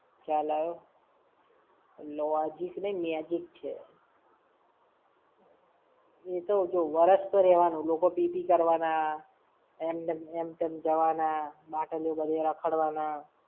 ખ્યાલ આયો. Logic નઈ Magic છે. એ તો જો વરસ તો રેવાનું. લોકો પી-પી કરવાના, એમ તેમ જવાના. બાટલીયો બધે રખડવાના.